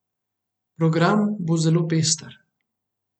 Program bo zelo pester.